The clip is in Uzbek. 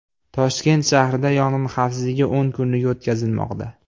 Toshkent shahrida yong‘in xavfsizligi o‘n kunligi o‘tkazilmoqda.